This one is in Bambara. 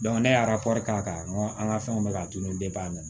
ne y'a k'a an ka fɛnw bɛɛ k'a tunu a nana